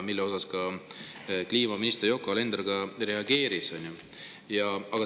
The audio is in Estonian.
Sellele kliimaminister Yoko Alender ka reageeris.